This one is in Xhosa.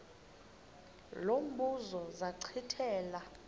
lo mbuzo zachithela